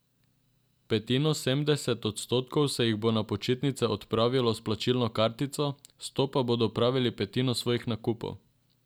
Petinosemdeset odstotkov se jih bo na počitnice odpravilo s plačilno kartico, s to bodo opravili petino svojih nakupov.